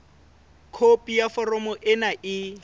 khopi ya foromo ena e